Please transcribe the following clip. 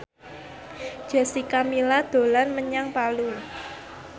Jessica Milla dolan menyang Palu